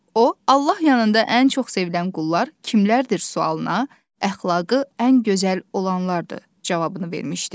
O, Allah yanında ən çox sevilən qullar kimlərdir sualına, əxlaqı ən gözəl olanlardır cavabını vermişdi.